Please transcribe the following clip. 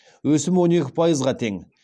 өсім он екі пайызға тең